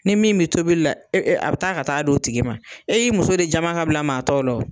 Ni min be tobili la, a be taa ka taa d'o tigi ma . E y'i muso de jama ka bila maa tɔw la wo.